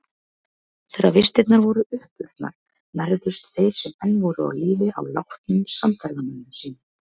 Þegar vistirnar voru uppurnar nærðust þeir sem enn voru á lífi á látnum samferðamönnum sínum.